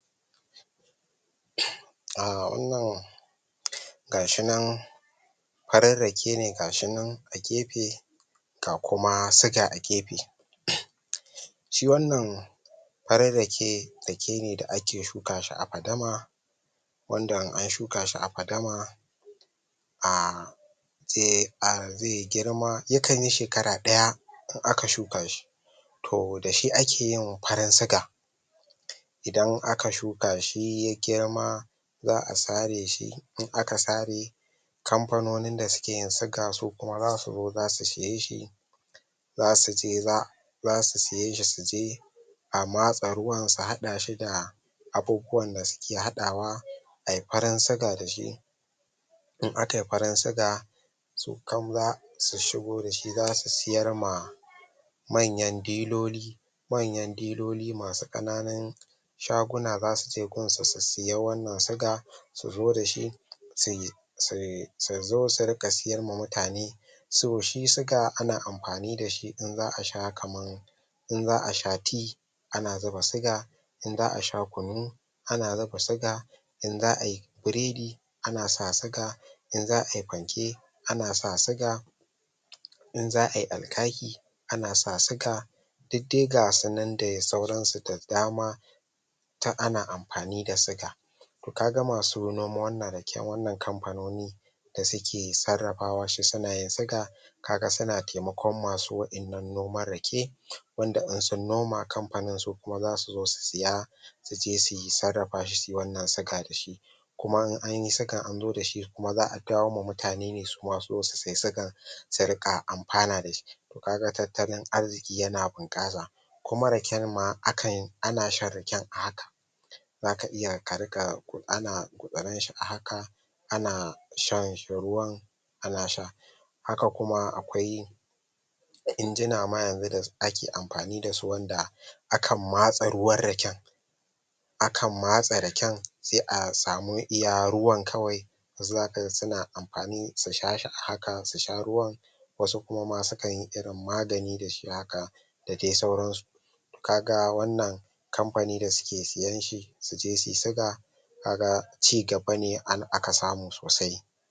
um Wannan ga shi nan farin rake ne ga shi nan a gefe ga kuma suga a gefe Shi wannan farin rake, rake ne da ake shuka a fadama wanda in an shuka shi a fadama um zai um zai girma, yakan yi shekara ɗaya in aka shuka shi To, da shi ake yin farin siga Idan aka shuka shi ya girma, za a sare shi, in aka sare kamfanonin da suke yin siga su kuma za su zo za su saye shi za su je za, za su saye shi su je a matsa ruwan, su haɗa shi da abubuwan da suke haɗawa, a yi farin siga da shi in aka yi farin siga to kaf za su shigo da shi su sayar ma manyan diloli manyan diloli masu ƙananun shaguna za su je gunsu su sayi wannan siga, su zo da shi su zo su riƙa sayar ma mutane. So shi siga ana amfani da shi in za a sha kamar in za a sha ti ana zuba siga, in za a sha kunu ana zuba siga in za a yi biredi ana sa siga, in za a yi fanke, ana sa siga in za a yi alkaki ana sa siga. Duk dai ga su nan da saursnsu da dama ta ana amfani da siga. To ka ga masu noman wannan raken, wannan kamfanoni da suke sarrafawa shi suna yin siga ka ga suna taimakon wasu waɗannan noman rake wanda in sun noma kamfanin su kuma za su zo su saya su je su sarrafa shi su yi wannan siga da shi Kuma in an yi sigan an zo da shi kuma za a kawo ma mutane ne su ma su zo su sayi sigan su riƙa amfana da shi Ka ga tattalin arziki yana bunƙasa Kuma raken ma akan, ana shan raken a hakan Za ka iya ka riƙa, ana gutsuran shi a haka ana shan shi ruwa, ana sha. Haka kuma akwai injina ma yanzu da ake amfani da su wanda akan matse ruwan raken akan matse raken sai a samu iya ruwan kawai wasu za ka ga suna amfani su sha shi a haka, su sha ruwan wasu kuma ma sukan yi irin magani da shi haka da dai sauransu Ka ga wannan kamfani da suke sayan shi su je su yi siga ka ga cigaba ne aka samu sosai.